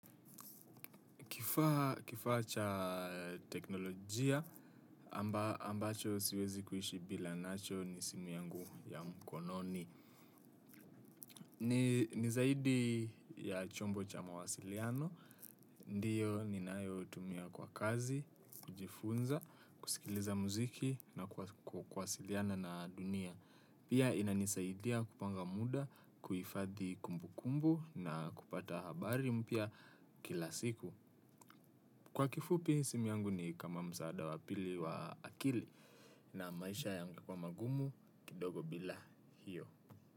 Kifaa cha teknolojia ambacho siwezi kuishi bila nacho ni simu yangu ya mkononi. Nizaidi ya chombo cha mawasiliano, ndiyo ninayo tumia kwa kazi, kujifunza, kusikiliza muziki na kuwasiliana na dunia. Pia inanisaidia kupanga muda, kuhifadhi kumbu kumbu na kupata habari mpya kila siku. Kwa kifupi, simu yangu ni kama msaada wa pili wa akili na maisha yangu kuwa magumu kidogo bila hiyo.